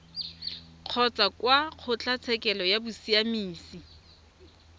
kgotsa kwa kgotlatshekelo ya bosiamisi